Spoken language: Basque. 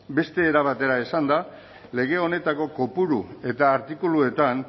beste era batera esanda lege honetako kopuru eta artikuluetan